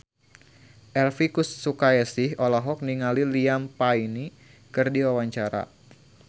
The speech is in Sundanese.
Elvi Sukaesih olohok ningali Liam Payne keur diwawancara